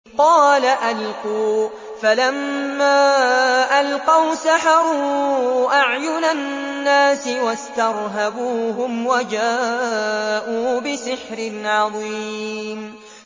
قَالَ أَلْقُوا ۖ فَلَمَّا أَلْقَوْا سَحَرُوا أَعْيُنَ النَّاسِ وَاسْتَرْهَبُوهُمْ وَجَاءُوا بِسِحْرٍ عَظِيمٍ